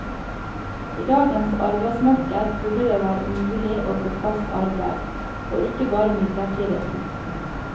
I dagens arbeidsmarked burde det være mulig å få fast arbeid, og ikke bare midlertidig.